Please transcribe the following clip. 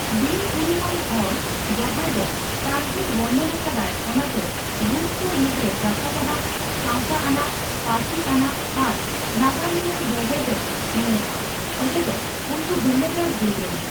ᱵᱤᱱᱼᱩᱨᱩᱢᱟᱱ ᱦᱚᱲ ᱡᱟᱦᱟᱸᱭ ᱫᱚ ᱠᱟᱹᱦᱱᱤᱭ ᱵᱚᱨᱱᱚᱱ ᱟᱠᱟᱫᱟᱭ ᱚᱱᱟᱛᱮ ᱵᱷᱩᱛ ᱠᱚ ᱢᱩᱫᱽᱨᱮ ᱜᱟᱛᱟᱠᱟᱱᱟᱜ, ᱥᱟᱣᱛᱟ ᱟᱱᱟᱜ, ᱯᱟᱹᱨᱥᱤ ᱟᱱᱟᱜ ᱟᱨ ᱱᱟᱜᱟᱢᱤᱭᱟᱹ ᱵᱷᱮᱜᱮᱫ ᱮ ᱧᱮᱞᱚᱜᱼᱟ, ᱚᱡᱮᱫᱚ ᱩᱱᱠᱩ ᱵᱷᱮᱱᱮᱜᱟᱨ ᱡᱩᱜᱽ ᱨᱮᱱ ᱾